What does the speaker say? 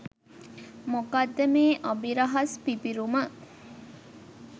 මොකක්ද මේ අභිරහස් පිපිරුම